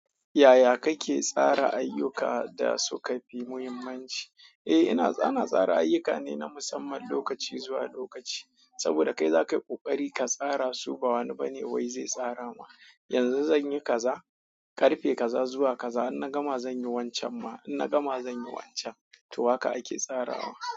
Yaya kake tsara ayyuka da su ka fi muhimmanci? Eh, ina ana tsara ayuka ne na musamman lokaci zuwa lokaci. Saboda kai zakai ƙoƙari ka tsara su ba wani bane wai zai tsara ma. Yanzu zanyi kaza, karfe kaza zuwa kaza in na gama zanyi wancan ma in na gama zanyi wancan. To haka ake tsarawa.